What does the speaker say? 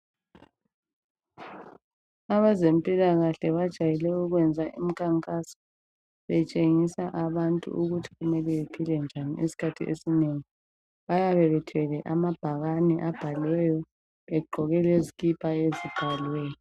Abezempilakahle bajayele ukwenza imikhankaso betshengisa abantu ukuthi kumele bephile njani isikhathi esinengi. Bayabe bethwele amabhakane abhaliweyo begqoke lezikipa ezibhaliweyo.